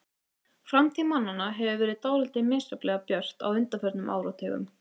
Framtíð mannanna hefur verið dálítið misjafnlega björt á undanförnum áratugum.